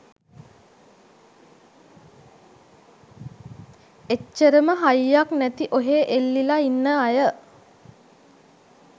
එච්චරම හයියක් නැති ඔහේ එල්ලිල ඉන්න අය